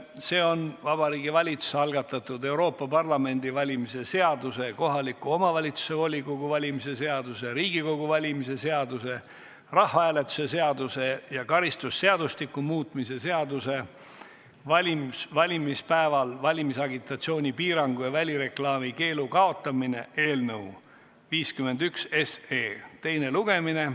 See on Vabariigi Valitsuse algatatud Euroopa Parlamendi valimise seaduse, kohaliku omavalitsuse volikogu valimise seaduse, Riigikogu valimise seaduse, rahvahääletuse seaduse ja karistusseadustiku muutmise seaduse eelnõu 51 teine lugemine.